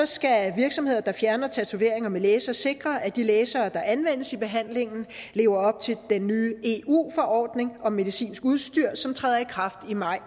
skal virksomheder der fjerner tatoveringer med laser sikre at de lasere der anvendes i behandlingen lever op til den nye eu forordning om medicinsk udstyr som træder i kraft i maj